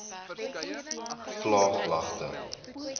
vlaaglagte